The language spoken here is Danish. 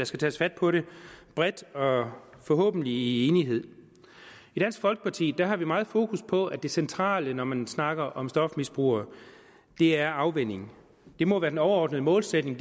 skal tages fat på det bredt og forhåbentlig i enighed i dansk folkeparti har vi meget fokus på at det centrale når man snakker om stofmisbrugere er afvænning det må være den overordnede målsætning